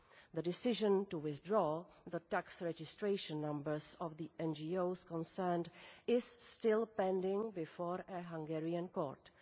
The decision to withdraw the tax registration numbers of the NGOs concerned is still pending before a Hungarian court.